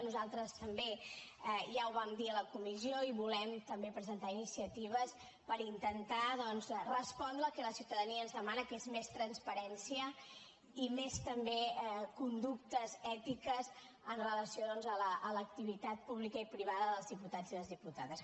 nosaltres també ja ho vam dir a la comissió i volem també presentar iniciatives per intentar doncs respondre al que la ciutadania ens demana que és més transparència i més conductes ètiques amb relació doncs a l’activitat pública i privada dels diputats i les diputades